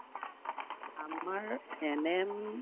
আমাৰ NM